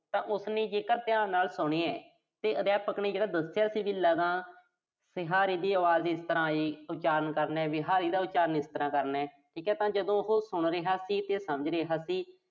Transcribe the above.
ਤਾਂ ਉਸਨੇ ਜੇਕਰ ਧਿਆਨ ਨਾਲ ਸੁਣਿਆ। ਤੇ ਅਧਿਆਪਕ ਨੇ ਜਿਹੜਾ ਦੱਸਿਆ ਸੀ ਵੀ ਲਗਾਂ ਸਿਹਾਰੀ ਦੀ ਆਵਾਜ਼ ਇਸ ਤਰ੍ਹਾਂ ਇਹ ਉਚਾਰਨ ਕਰਨਾ। ਬਿਹਾਰੀ ਦਾ ਉਚਾਰਨ, ਇਸ ਤਰ੍ਹਾਂ ਕਰਨਾ। ਠੀਕਾ ਤਾਂ ਜਦੋਂ ਉਹੋ ਸੁਣ ਰਿਹਾ ਸੀ ਤੇ ਸਮਝ ਰਿਹਾ ਸੀ।